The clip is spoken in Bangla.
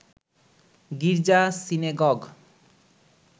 গির্জা সিনেগগ